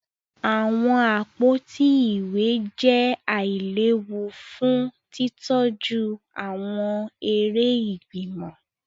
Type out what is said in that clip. Awọn àpótí ìwé jẹ ailewu fún titọju awọn eré ìgbìmọ̀